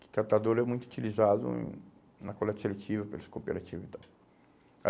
que catador é muito utilizado em na coleta seletiva, pelos cooperativos e tal.